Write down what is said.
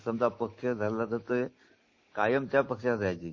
समजा पक्ष धरला तर ते कायम त्या पक्षात राहायची.